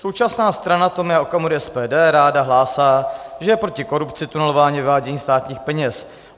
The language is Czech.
Současná strana Tomia Okamury SPD ráda hlásá, že je proti korupci, tunelování, vyvádění státních peněz.